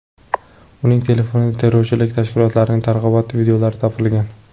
Uning telefonidan terrorchilik tashkilotlarining targ‘ibot videolari topilgan.